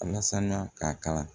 Alasan k'a kalan